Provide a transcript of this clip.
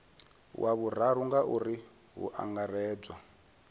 wa vhuraru ngauri hu angaredzwa